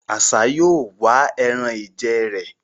Àṣá yóò wá ẹran-ìjẹ rẹ̀